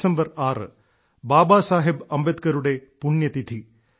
December ആറ് ബാബാ സാഹബ് അംബേദ്കറുടെ പുണ്യ തിഥി